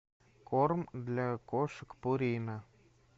корм для кошек пурина